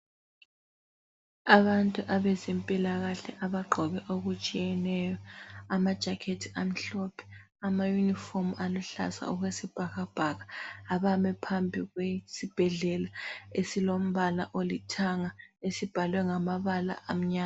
Abantu abezempilakahle abagqoke okutshiyeneyo. Ama jacket amhlophe, ama uniform aluhlaza okwesibhakabhaka abame phambi kwesibhedlela esilombala olithanga ,esibhalwe ngamabala amnyama.